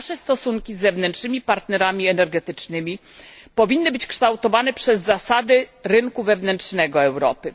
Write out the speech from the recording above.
Nasze stosunki z zewnętrznymi partnerami energetycznymi powinny być kształtowane przez zasady rynku wewnętrznego Europy.